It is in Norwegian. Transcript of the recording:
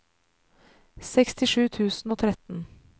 sekstisju tusen og tretten